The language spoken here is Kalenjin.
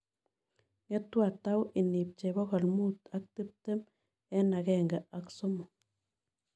Ng'etu atau inipchei pogol mut ak tiptem eng' agenge ak somok